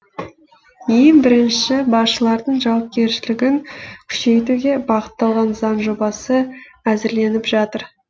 ең бірінші басшылардың жауапкершілігін күшейтуге бағытталған заң жобасы әзірленіп жатыр